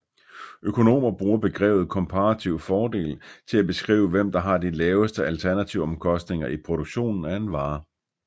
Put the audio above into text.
Økonomer bruger begrebet komparativ fordel til at beskrive hvem der har de laveste alternativomkostninger i produktionen af en vare